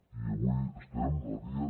i avui estem a dia